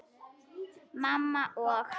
Mamma og